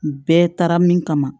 Bɛɛ taara min kama